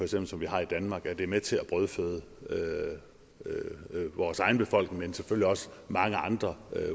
svin som vi har i danmark at det er med til at brødføde vores egen befolkning men selvfølgelig også mange andre